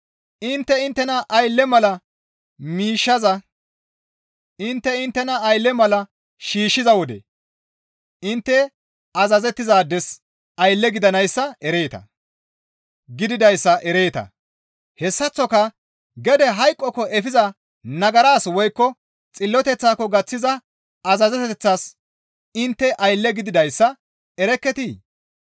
Intte inttena aylle mala shiishshiza wode intte azazettizaades aylle gididayssa ereeta; hessaththoka gede hayqokko efiza nagaras woykko xilloteththako gaththiza azazeteththas intte aylle gididayssa erekketii?